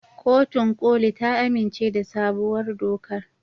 Kotun koli ta amince da sabuwar dokar.